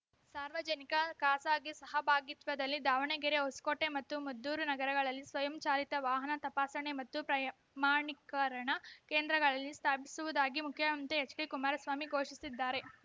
ಸಾರ್ವಜನಿಕಖಾಸಗಿ ಸಹಭಾಗಿತ್ವದಲ್ಲಿ ದಾವಣಗೆರೆ ಹೊಸಕೋಟೆ ಮತ್ತು ಮದ್ದೂರು ನಗರಗಳಲ್ಲಿ ಸ್ವಯಂ ಚಾಲಿತ ವಾಹನ ತಪಾಸಣಾ ಮತ್ತು ಪ್ರಮಾಣೀಕರಣ ಕೇಂದ್ರಗಳಲ್ಲಿ ಸ್ಥಾಪಿಸುವುದಾಗಿ ಮುಖ್ಯಮಂತ್ರಿ ಎಚ್‌ಡಿಕುಮಾರಸ್ವಾಮಿ ಘೋಷಿಸಿದ್ದಾರೆ